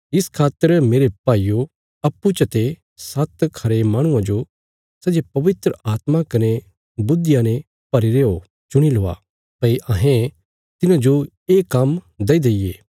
इस खातर मेरे भाईयो अप्पूँ चते सात्त खरे माहणुआं जो सै जे पवित्र आत्मा कने बुद्धिया ने भरीरे हो चुणी लवा भई अहें तिन्हांजो ये काम्म दईदेईये